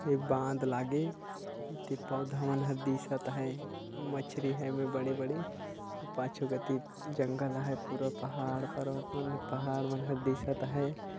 ये बांध लागे एती पौधा मन ह दिसत हैं मछरी हवे बड़े-बड़े अऊ पाछु कोती जंगल हैं पूरा पहाड़ पर्वत मन पहाड़ मन ह दिखत हैं।